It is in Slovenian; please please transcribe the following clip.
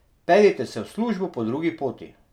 Peljite se v službo po drugi poti.